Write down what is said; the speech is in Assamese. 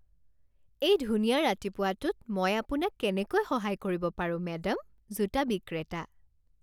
এই ধুনীয়া ৰাতিপুৱাটোত মই আপোনাক কেনেকৈ সহায় কৰিব পাৰোঁ মেডাম? জোতা বিক্ৰেতা